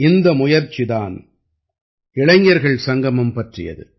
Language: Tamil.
இந்த முயற்சி தான் இளைஞர்கள் சங்கமம் பற்றியது